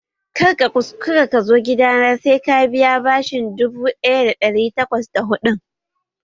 Kar ka kuskura ka zo gidana sai ka biya bashin dubu ɗaya da ɗari takwas da hudun!